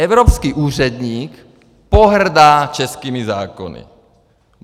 Evropský úředník pohrdá českými zákony.